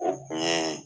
O kun ye